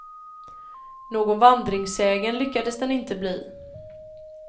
Någon vandringssägen lyckades den inte bli.